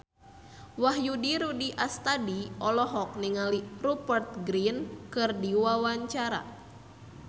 Wahyu Rudi Astadi olohok ningali Rupert Grin keur diwawancara